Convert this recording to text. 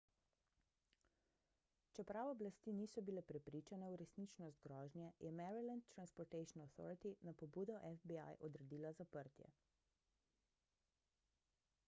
čeprav oblasti niso bile prepričane v resničnost grožnje je maryland transportation authority na pobudo fbi odredila zaprtje